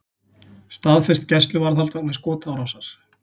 Staðfest gæsluvarðhald vegna skotárásar